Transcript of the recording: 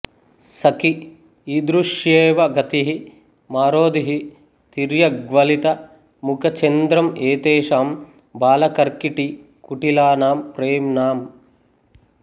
సఖి ఈదృశ్యేవ గతిః మారోదీః తిర్యగ్వలిత ముఖ చంద్రంఏతేషాం బాల కర్కటీ కుటిలానాం ప్రేమ్ణామ్